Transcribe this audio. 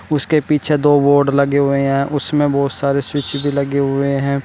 उसके पीछे दो बोर्ड लगे हुए हैं उसमें बहुत सारे स्विच भी लगे हुए हैं।